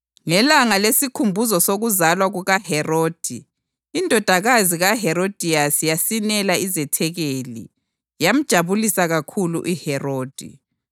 Ngelanga lesikhumbuzo sokuzalwa kukaHerodi indodakazi kaHerodiyasi yasinela izethekeli, yamjabulisa kakhulu uHerodi